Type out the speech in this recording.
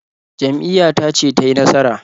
Jam'iyyata ce ta yi nasara.